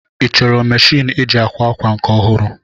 Ị chọrọ meshịn eji akwa akwa nke ọhụrụ?